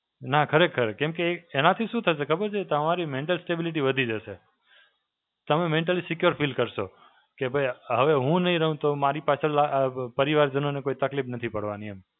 નાં ખરેખર, કેમ કે એનાથી શું થશે ખબર છે? તમારી Mental stability વધી જશે. તમે Mentally secure feel કરશો. કે ભઇ હવે હું નહીં રહું, તો મારી પાછળ લા અ પરિવાર જનોને કોઈ તકલીફ નથી પડવાની એમ.